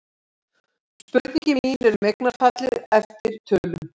Spurningin mín er um eignarfallið eftir tölum.